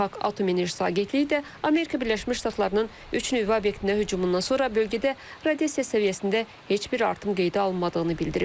Beynəlxalq Atom Enerjisi Agentliyi də Amerika Birləşmiş Ştatlarının üç nüvə obyektinə hücumundan sonra bölgədə radiasiya səviyyəsində heç bir artım qeydə alınmadığını bildirib.